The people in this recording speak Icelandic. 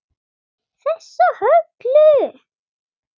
Þessa Höllu!